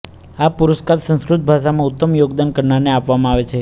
આ પુરસ્કાર સંસ્કૃત ભાષામાં ઉત્તમ યોગદાન કરનારને આપવામાં આવે છે